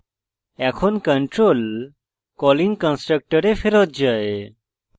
এখন control calling কন্সট্রকটরে ফেরৎ যায়